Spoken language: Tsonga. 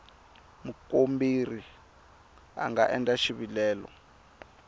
mukomberi a nga endla xivilelo